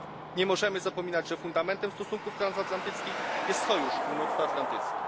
Nie możemy zapominać, że fundamentem stosunków transatlantyckich jest sojusz północnoatlantycki.